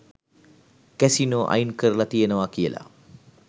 Casino අයින් කරලා තියෙනවා කියලා.